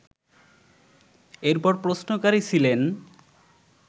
এরপর প্রশ্নকারী ছিলেন